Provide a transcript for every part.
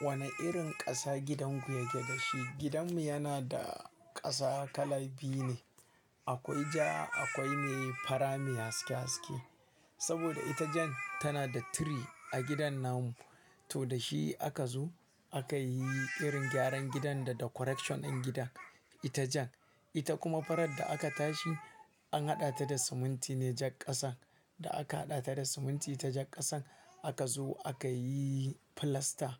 Wane irin ƙasa gidan ku yake da shi? Gidanmu yana da ƙasa kala biyu ne. Akwai ja akwai mai fara mai haske haske. Saboda ita jan tana da tree a gidan namu, to da shi aka zo aka yi irin gyaran gidan da decoration din gida. Itacen, ita kuma farar da aka tashi an haɗa ta da siminti ne jak ƙasan. Da aka haɗa ta da siminti ta jak ƙasan aka zo aka yi filasta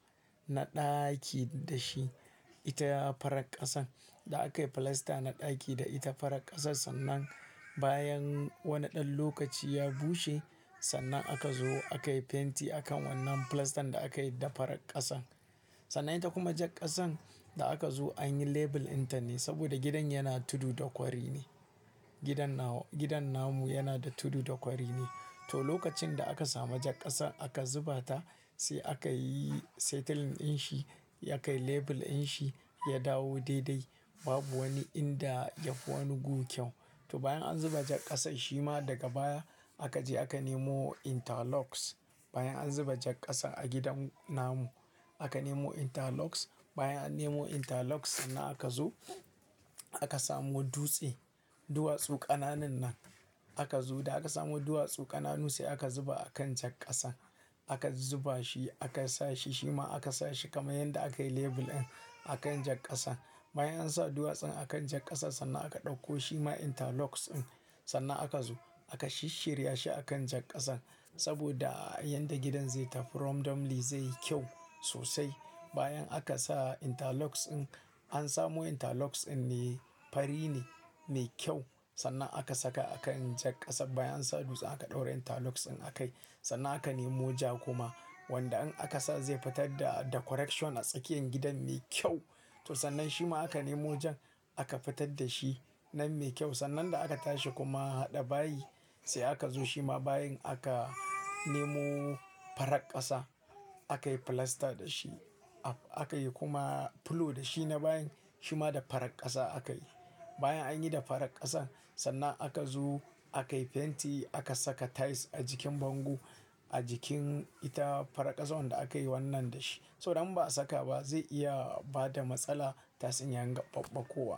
na ɗaki da shi ita farar ƙasan. Da aka yi filasta na ɗaki da ita farar ƙasan sannan bayan wani ɗan lokaci ya bushe sannan aka zo aka yi fenti a kan wannan filastan da aka yi da farar ƙasan. Sannan ita kuma jak ƙasan da aka zo an yi lebel inta ne saboda gidan yana tudu da kwari ne. Gidan na gidan namu yana da tudu da kwari ne. To lokacin da aka samu jak ƙasan aka zuba ta sai aka yi settling din shi ya kai lebel din shi ya dawo daidai babu wani inda ya fi wani gu kyau. To bayan an zuba jak ƙasan shima daga baya aka je aka nemo interlocks. Bayan an zuba jak ƙasan a gidan namu aka nemo interlocks. Bayan an nemo interlocks sannan aka zo aka samu dutse, duwatsu ƙananan nan. Aka zo da aka samu duwatsu ƙananu sai aka zuba a kan jak ƙasan. Aka zuba shi aka sa shi shima aka sa shi kamar yanda aka yi lebel din a kan jak ƙasan. Bayan an sa duwatsun a kan jak ƙasan sannan aka ɗauko shima interlocks din. Sannan aka zo aka shisshirya shi a kan jak ƙasan saboda yanda gidan zai tafi from dam li zai yi kyau sosai. Bayan aka sa interlocks din an samu interlocks din ne fari ne mai kyau sannan aka saka a kan jak ƙasan. Bayan an sa dutse aka ɗaura interlocks din aka yi sannan aka nemo ja kuma wanda in aka sa zai fitar da decoration a tsakiyan gidan mai kyau. To sannan shima aka nemo jan aka fitar da shi nan mai kyau. Sannan da aka tashi kuma haɗa bayi sai aka zo shima bayan aka nemo farar ƙasa aka yi filasta da shi aka yi kuma fulo da shi na bayan shima da farar ƙasa aka yi. Bayan an yi da farar ƙasan sannan aka zo aka yi fenti aka saka tails a jikin bango a jikin ita farar ƙasan wanda aka yi wannan da shi. So idan ba a saka ba zai iya bada matsala ta sanyaya gaɓaɓaƙowa.